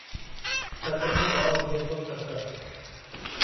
सत्रहं ॿ उणिवीह सौ सत